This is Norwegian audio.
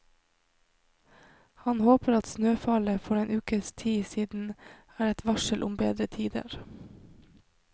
Han håper at snøfallet for en ukes tid siden er et varsel om bedre tider.